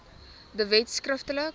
de wet skriftelik